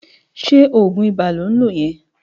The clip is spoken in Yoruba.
Sé ógun Ibá lón ló yen?